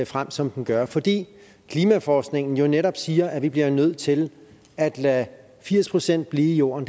frem som den gør fordi klimaforskningen jo netop siger at vi bliver nødt til at lade firs procent blive jorden